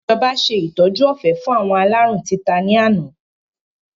Ìjọba ṣe ìtọ́jú ọ̀fẹ́ fún àwọn aláárùn títa ni àná